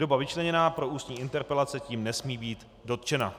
doba vyčleněná pro ústní interpelace tím nesmí být dotčena."